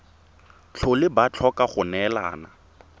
tlhole ba tlhoka go neelana